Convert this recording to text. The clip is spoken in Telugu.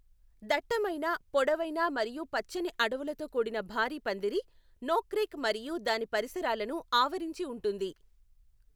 దట్టమైన, పొడవైన మరియు పచ్చని అడవులతో కూడిన భారీ పందిరి, నోక్రెక్ మరియు దాని పరిసరాలను ఆవరించి ఉంటుంది.